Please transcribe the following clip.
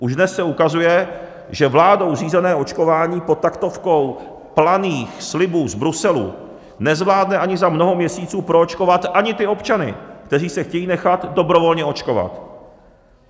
Už dnes se ukazuje, že vládou řízené očkování pod taktovkou planých slibů z Bruselu nezvládne ani za mnoho měsíců proočkovat ani ty občany, kteří se chtějí nechat dobrovolně očkovat.